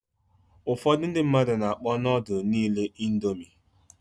Ụfọdụ ndị mmadụ na-akpọ nudul niile indomi.